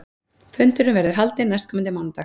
Fundurinn verður haldinn næstkomandi mánudag